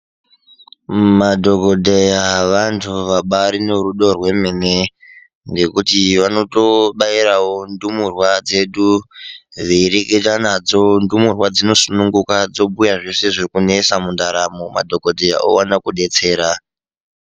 Madhokodheya vantu vabairi nerudo rwemene ngekuti vanotobairawo ndumurwa dzedu veireketa nadzo, ndumurwa dzinosununguka dzobhuya zveshe zvikunetsa mundaramo madhokodheya owana kudetsera.